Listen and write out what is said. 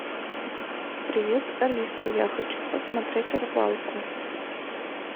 привет алиса я хочу посмотреть рыбалку